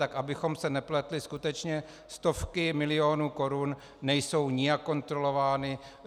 Tak abychom se nepletli, skutečně stovky milionů korun nejsou nijak kontrolovány.